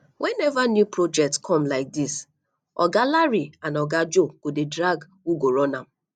whenever new project come like dis oga larry and oga joe go dey drag who go run am